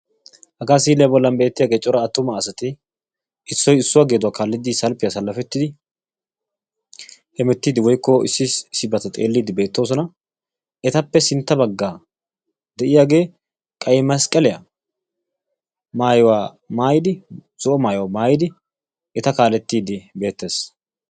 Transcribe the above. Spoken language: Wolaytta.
Haga si'ilya bollani betiyabati cora attuma asaay issoy issuwaa geeduwa kaalidi salfiyan salalfettidi hemetidi woykko issi issibata xeelidi beetosona. Etappe sintta baggara deiyage qeyi mesqeliya maayuwaa maayidi zoo maayuwaa maayidi eta kaalettidi de'ees.